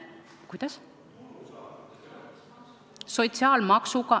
Kuidas?